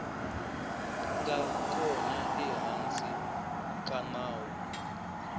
nga kona ehansi ka nawu